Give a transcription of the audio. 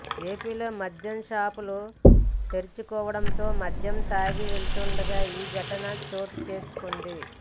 ఏపీలో మద్యం షాపులు తెరుచుకోవడంతో మద్యం తాగి వెళ్తుండగా ఈ ఘటన చోటు చేసుకుంది